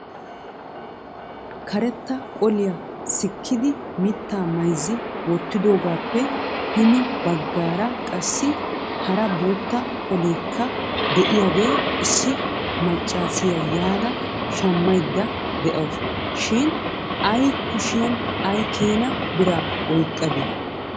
karetta Qoliyaa sikkidi mittaa mayzzi wottidoogappe hini baggaara qassi hara bootta qolekka de'iyaaga issi maccaassiyaa yaada shammaydda de'awusu shin ay kushiyaan ay keena bira oyqqade?